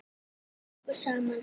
Þú vildir koma okkur saman.